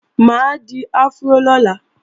Mà á di afró lọ́la